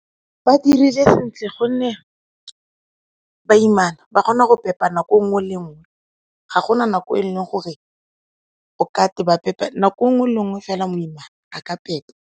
Ba dirile sentle gonne baimana ba kgona go pepa nako e nngwe le e nngw, e ga gona nako e leng gore o ka re ba pepa nako e nngwe le e nngwe fela moimana a ka pepa.